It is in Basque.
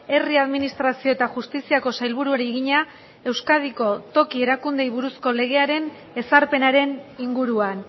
herri administrazio eta justiziako sailburuari egina euskadiko toki erakundeei buruzko legearen ezarpenaren inguruan